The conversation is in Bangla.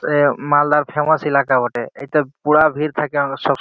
এ মালদার ফেমাস এলাকা বটে এতে পুরা ভিড় থাকে অনেকসময়।